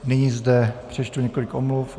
Nyní zde přečtu několik omluv.